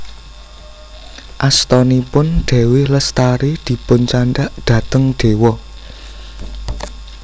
Astanipun Dewi Lestari dipun candhak dateng Dewa